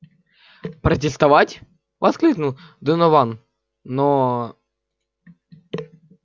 протестовать воскликнул донован но